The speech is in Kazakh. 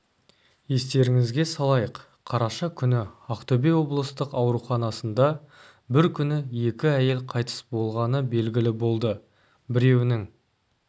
естеріңізге салайық қараша күні ақтөбе облыстық ауруханасында бір күні екі әйел қайтыс болғаны белгілі болды біреуінің